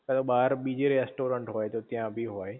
કા તો બાર બીજે રેસ્ટોરન્ટ હોય તો ત્યાં ભી હોય